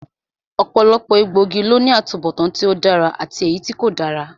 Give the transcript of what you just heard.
Ọ̀pọ̀lọpọ̀ egbòogi ló ní atubọtan tí ó dára àti èyítí kò dára